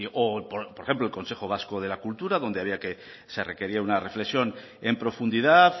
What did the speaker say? o por ejemplo el consejo vasco de la cultura donde había que se requería una reflexión en profundidad